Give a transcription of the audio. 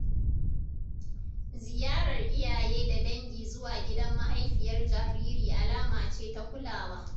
Ziyarar iyaye da dangi zuwa gidan mahaifiyar jariri alama ce ta kulawa.